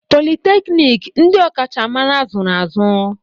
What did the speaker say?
Politeknik, ndị ọkachamara zụrụ azụ.